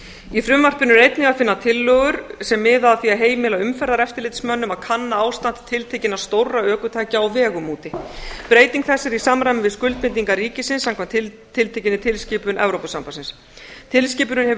í frumvarpinu er einnig að finna tillögur sem miða að því að heimila umferðareftirlitsmönnum að kanna ástand tiltekinna stórra ökutækja á vegum úti breyting þessi er í samræmi við skuldbindingar ríkisins samkvæmt tiltekinni tilskipun evrópusambandsins tilskipunin hefur